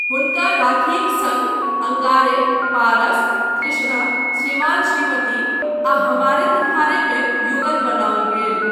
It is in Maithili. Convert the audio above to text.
हुनका राखीक सङ्ग 'अंगारे', 'पारस', 'तृष्णा', 'श्रीमान श्रीमती' आ 'हमारे तुम्हारे' मे युगल बनाओल गेल।